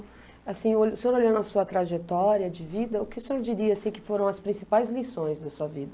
Assim o, o senhor olhando a sua trajetória de vida, o que o senhor diria assim, que foram as principais lições da sua vida?